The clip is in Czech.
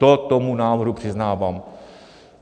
To tomu návrhu přiznávám.